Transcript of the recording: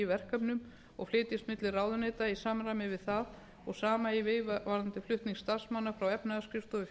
verkefnum og flytjist milli ráðuneyta í samræmi við það og sama eigi við varðandi flutning starfsmanna frá efnahagsskrifstofu